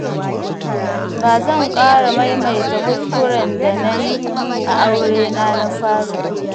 Ba zan ƙara maimata kuskuren da na yi a aurena na fari ba.